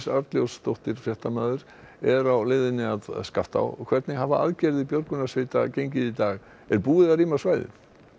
Arnljótsdóttir fréttamaður er á leiðinni að Skaftá hvernig hafa aðgerðir björgunarsveita gengið í dag er búið að rýma svæðið